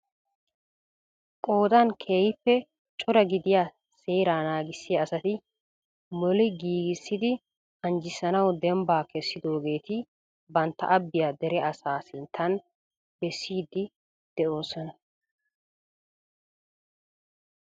Qoodan keehippe cora gidiyaa seera naagissiya asati molli giigissidi anjjisanaw dbba kessidooheeti banttaa abbiyaa dere asaa sinttan bessiidi de'oosoma .